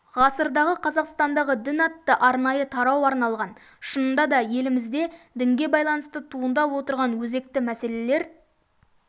ғасырдағы қазақстандағы дін атты арнайы тарау арналған шынында да елімізде дінге байланысты туындап отырған өзекті мәселелер